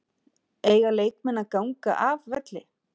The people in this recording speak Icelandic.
Eiga leikmenn að ganga af velli?